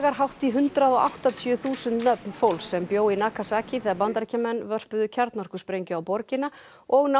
hátt í hundrað og áttatíu þúsund nöfn fólks sem bjó í Nagasaki þegar Bandaríkjamenn vörpuðu kjarnorkusprengju á borgina og